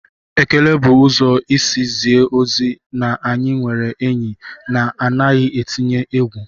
Ekele bụ ụzọ isi zie ozi na anyị nwere enyi na anaghị etinye egwu